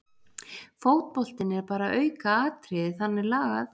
Fótboltinn er bara aukaatriði þannig lagað